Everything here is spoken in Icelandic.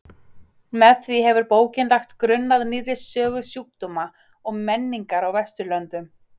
Með því hefur bókin lagt grunn að nýrri sögu sjúkdóma og menningar á Vesturlöndum.